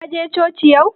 Ka je coci yau?